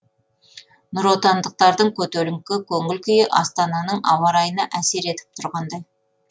нұротандықтардың көтеріңкі көңіл күйі астананың ауа райына әсер етіп тұрғандай